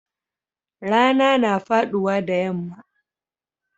Rana na faduwa da yamma.